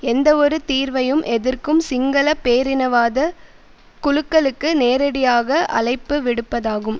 எந்தவொரு தீர்வையும் எதிர்க்கும் சிங்கள பேரினவாத குழுக்களுக்கு நேரடியாக அழைப்பு விடுப்பதாகும்